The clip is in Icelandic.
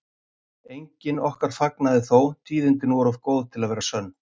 Enginn okkar fagnaði þó, tíðindin voru of góð til að vera sönn.